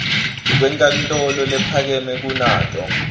wenkantolo lephakeme kunato